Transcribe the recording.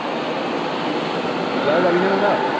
বজাৰ যাবি নে নাযাও